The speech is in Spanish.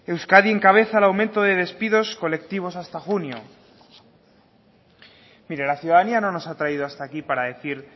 euskadi encabeza el aumento de despidos colectivos hasta junio mire la ciudadanía no nos ha traído hasta aquí para decir